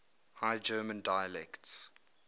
high german dialects